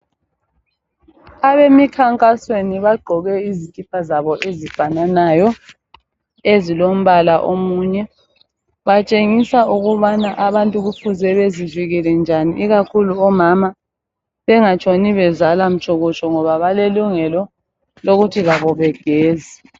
Abemikhankasweni bagqoke izikipa zabo ezifananayo ezilombala omunye, batshengisa ukubana abantu kufuze bazivikele njani ikakhulu omama bengatshoni bezala mtshokotsho ngoba balelungelo lokuthi labo begeze.